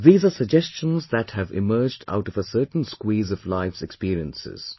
These are suggestions that have emerged out of a certain squeeze of life's experiences